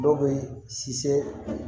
Dɔw bɛ